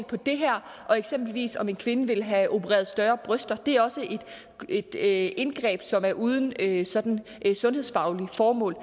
på det her og eksempelvis om en kvinde vil have opereret større bryster det er også et indgreb som er uden et sådan sundhedsfagligt formål